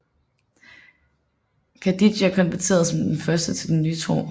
Khadidja konverterede som den første til den nye tro